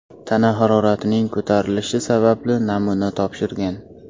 tana haroratining ko‘tarilishi sababli namuna topshirgan.